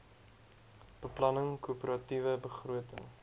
beplanning koöperatiewe begroting